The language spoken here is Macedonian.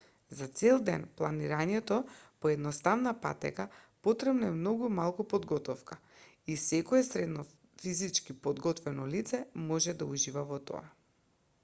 за цел ден планинарење по едноставна патека потребно е многу малку подготовка и секое средно физички подготвено лице може да ужива во тоа